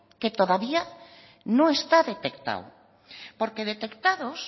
que todavía no está detectado porque detectados